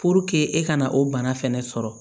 e ka na o bana fɛnɛ sɔrɔ